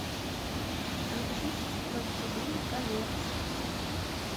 включить властелин колец